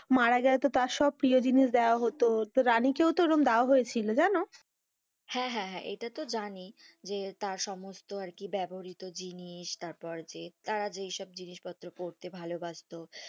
মারা যাইতো তার সব প্রিয় জিনিস দেয়া হতো তো রানী কেউ তো ওই রকম দেয়া হয়েছিল জানো, হেঁ, হেঁ, হেঁ এটা তো জানি যে তার সমস্ত আরকি বেবরীত জিনিস তার পর যে তারা যে তারা যে সব জিনিস পত্র পরতে ভালোবাসত,